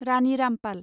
Rani Rampal